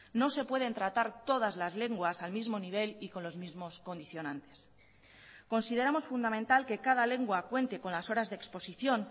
no se pueden tratar todas las lenguas al mismo nivel y con los mismos condicionantes consideramos fundamental que cada lengua cuente con las horas de exposición